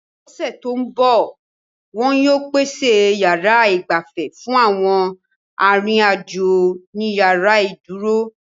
L'ọ́sẹ̀ tó ń bọ̀, wọn yóò pèsè yàrá igbafe fún àwọn arìnrìn-àjò ni yàrá ìdúró